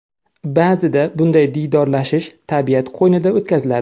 Ba’zida bunday diydorlashish tabiat qo‘ynida o‘tkaziladi.